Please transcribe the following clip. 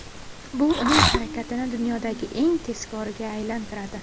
Bu uning harakatini dunyodagi eng tezkoriga aylantiradi.